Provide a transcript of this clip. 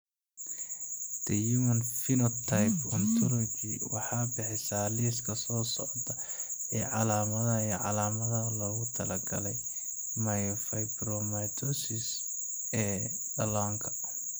The Human Phenotype Ontology waxay bixisaa liiska soo socda ee calaamadaha iyo calaamadaha loogu talagalay myofibromatosis ee dhallaanka.